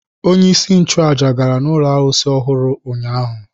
Onyeisi nchụaja gara ụlọ arụsị ọhụrụ ụnyaahụ.